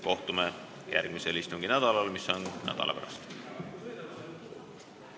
Kohtume järgmisel istunginädalal, mis on nädala pärast.